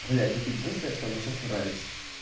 блять это единственное что мне сейчас нравится